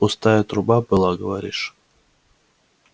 пустая труба была говоришь